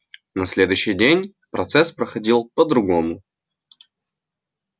на следующий день процесс проходил по-другому